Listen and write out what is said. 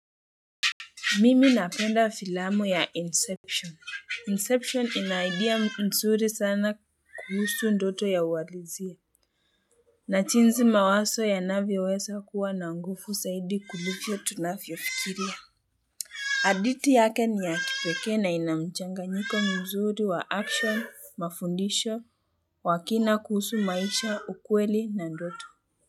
Mimi napenda filamu ya Inception. Inception inaidia mzuri sana kuhusu ndoto ya uwalizie. Najinsi mawaso ya navyo weza kuwa na nguvu zaidi kuliko tunafio fikiria. Hadhiti yake ni ya kipekee na inamchanga nyiko mzuri wa action, mafundisho, wakina kuhusu maisha, ukweli na ndoto.